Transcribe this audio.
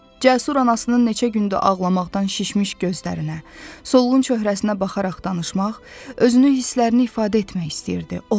Cəsur anasının neçə gündür ağlamaqdan şişmiş gözlərinə, solğun çöhrəsinə baxaraq danışmaq, özünü hisslərini ifadə etmək istəyirdi.